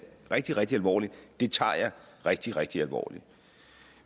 rigtig rigtig alvorligt det tager jeg rigtig rigtig alvorligt